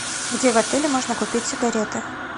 где в отеле можно купить сигареты